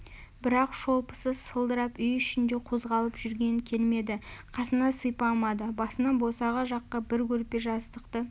бірақ шолпысы сылдырап үй ішінде қозғалып жүрген келмеді қасына сипамады басынан босаға жаққа бір көрпе-жастықты